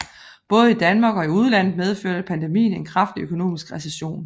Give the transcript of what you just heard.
Både i Danmark og i udlandet medførte pandemien en kraftig økonomisk recession